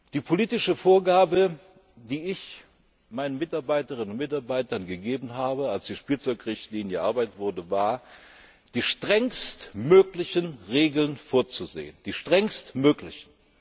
Die politische Vorgabe, die ich meinen Mitarbeiterinnen und Mitarbeitern gegeben habe, als die Spielzeugrichtlinie erarbeitet wurde, war, die strengstmöglichen Regeln vorzusehen, die strengstmöglichen!